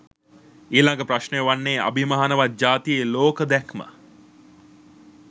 ඊළඟ ප්‍රශ්ණය වන්නේ අභිමානවත් ජාතියේ ලෝක දැක්ම